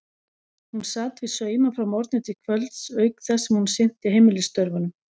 Hún sat við sauma frá morgni til kvölds auk þess sem hún sinnti heimilisstörfunum.